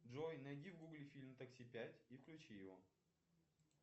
джой найди в гугле фильм такси пять и включи его